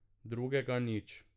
Drugega nič.